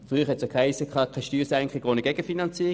Früher hiess es, keine Steuersenkung ohne Gegenfinanzierung.